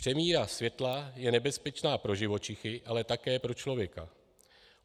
Přemíra světla je nebezpečná pro živočichy, ale také pro člověka.